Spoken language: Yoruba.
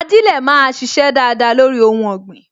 Ajilẹ máa sise dáadáa lórí ohun ọ̀gbìn